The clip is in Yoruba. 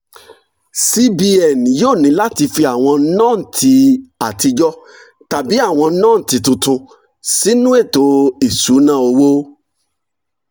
cbn yóò ní láti fi àwọn nọ́ǹtì àtijọ́ tàbí àwọn nọ́ǹtì tuntun sínú ètò ìṣúnná owó